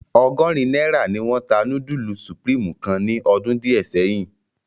Ọgọrin naira ni wọn ta nudulu Supreme kan ni ọdun diẹ sẹyin.